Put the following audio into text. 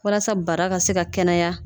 Walasa bara ka se ka kɛnɛya